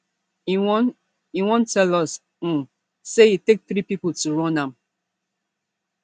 e wan e wan tell us um say e take three pipo to run am